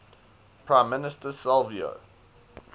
prime minister silvio